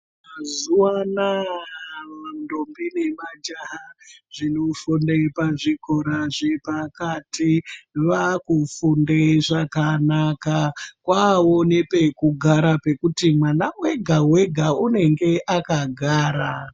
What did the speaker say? Mazuva anawa mantombi nemajaha zvinofunde pazvikora zvepakati vaakufunde zvakanaka kwawo nepekugara pekuti mwana wega wega unenge akagara.